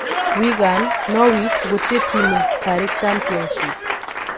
Wigan, Norwich gũtirĩ timu kari-championship